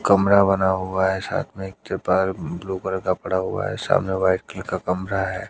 कमरा बना हुआ है साथ में एक त्रिपाल ब्ल्यू कलर का पड़ा हुआ हैं सामने व्हाईट कलर का कमरा है।